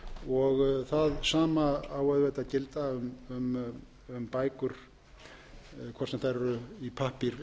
eru bækur það sama á auðvitað að gilda um bækur hvort sem þær eru í pappír